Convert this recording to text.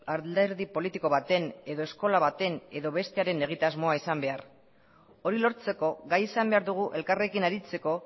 alderdi politiko baten edo eskola baten edo bestearen egitasmoa izan behar hori lortzeko gai izan behar dugu elkarrekin aritzeko